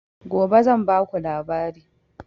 Gobe zan ba ku labari